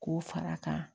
K'o fara a kan